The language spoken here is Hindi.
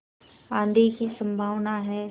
आँधी की संभावना है